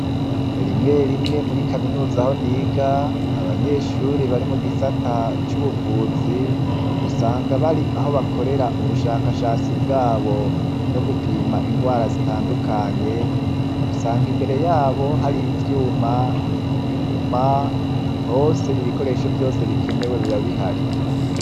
Rimwe rimwe muri kaminuz' aho niga, abanyeshure bari mu gisata c' ubuvuz' usanga bar' aho bakorer' ubushakashatsi bwabo bwo gupim' ingwara zitandukanye, usang' imbere yabo har' ivyuma, inyuma hos' ibikoresho vyose bikenewe biba bihari.